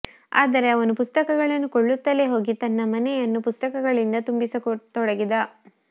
ಆದರೆ ಅವನು ಪುಸ್ತಕಗಳನ್ನು ಕೊಳ್ಳುತ್ತಲೇ ಹೋಗಿ ತನ್ನ ಮನೆಯನ್ನು ಪುಸ್ತಕಗಳಿಂದ ತುಂಬಿಸತೊಡಗಿದ